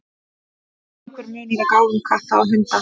Er einhver munur á gáfum katta og hunda?